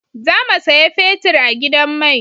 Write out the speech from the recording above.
Za mu saya fetir a gidan mai